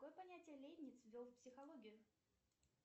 какое понятие лейбниц ввел в психологию